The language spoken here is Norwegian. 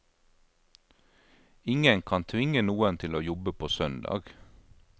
Ingen kan tvinge noen til å jobbe på søndag.